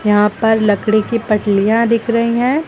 यहां पर लकड़ी की पतीलीयां दिख रही हैं।